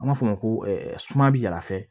An b'a fɔ o ma ko suma bɛ yaala fɛ